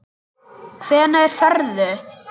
Hvenær ferðu?